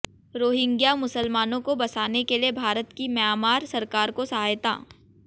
Rohingya मुसलमानों को बसाने के लिए भारत की म्यांमार सरकार को सहायता